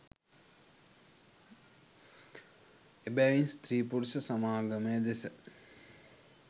එබැවින් ස්ත්‍රී පුරුෂ සමාගමය දෙස